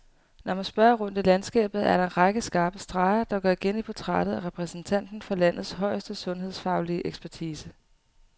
Når man spørger rundt i landskabet, er der en række skarpe streger, der går igen i portrættet af repræsentanten for landets højeste sundhedsfaglige ekspertise.